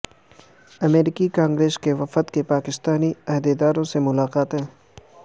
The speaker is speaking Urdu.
امریکی کانگریس کے وفد کی پاکستانی عہدیداروں سے ملاقاتیں